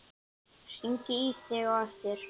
Hringi í þig á eftir.